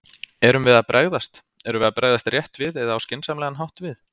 Erum við að bregðast, erum við að bregðast rétt við eða á skynsamlegan hátt við?